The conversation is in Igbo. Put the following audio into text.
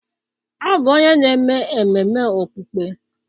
Ọ bụ onye na-eme ememe okpukpe